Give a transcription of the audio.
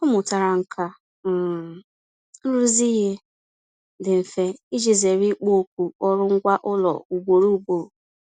Ọ mụtara nkà um nrụzi ihe dị mfe iji zere ịkpọ oku ọrụ ngwa ụlọ ugboro ugboro.